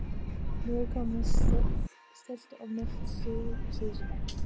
Nú er komið stillt og milt síðsumar.